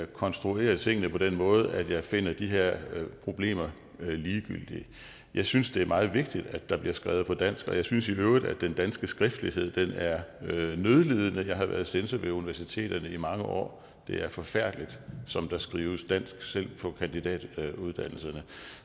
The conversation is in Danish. konstruerer tingene på den måde at jeg finder de her problemer ligegyldige jeg synes det er meget vigtigt at der bliver skrevet på dansk og jeg synes i øvrigt at den danske skriftlighed er nødlidende jeg har været censor ved universiteterne i mange år det er forfærdeligt som der skrives dansk selv på kandidatuddannelserne